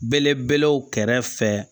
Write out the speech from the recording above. Belebelew kɛrɛfɛ